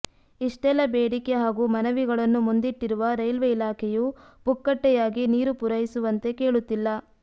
ಇಷ್ಟೆಲ್ಲ ಬೇಡಿಕೆ ಹಾಗೂ ಮನವಿಗಳನ್ನು ಮುಂದಿಟ್ಟಿರುವ ರೈಲ್ವೆ ಇಲಾಖೆಯು ಪುಕ್ಕಟ್ಟೆಯಾಗಿ ನೀರು ಪೂರೈಸುವಂತೆ ಕೇಳುತ್ತಿಲ್ಲ